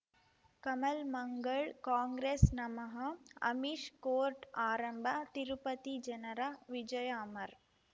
ಕಮಲ್ ಮಂಗಳ್ ಕಾಂಗ್ರೆಸ್ ನಮಃ ಅಮಿಷ್ ಕೋರ್ಟ್ ಆರಂಭ ತಿರುಪತಿ ಜನರ ವಿಜಯ ಅಮರ್